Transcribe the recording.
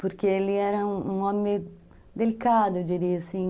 Porque ele era um homem delicado, eu diria assim.